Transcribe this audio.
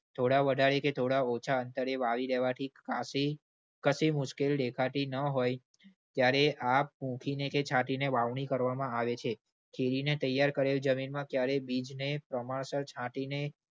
થોડા વધારે કે થોડા ઓછા અંતરે વાવી દેવાથી કાફી, કશી મુશ્કિલ દેખાતી ન હોય ત્યારે આ પુંખીને કે છાંટીને વાવણી કરવામાં આવે છે. ખેડી ને તૈયાર કરેલી જમીનમાં ક્યારે બીજને પ્રમાણસર છાંટીને